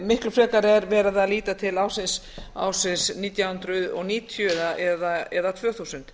miklu frekar er verið að líta til ársins nítján hundruð níutíu eða tvö þúsund